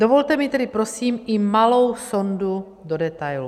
Dovolte mi tedy prosím i malou sondu do detailů.